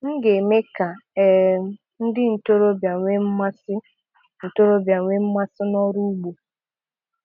M ga-eme ka um ndị ntorobịa nwee mmasị ntorobịa nwee mmasị n'ọrụ ugbo